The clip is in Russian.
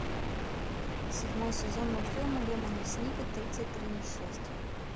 седьмой сезон мультфильма лемони сникет тридцать три несчастья